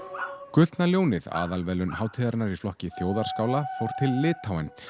gullna ljónið aðalverðlaun hátíðarinnar í flokki þjóðarskála fóru til Litháen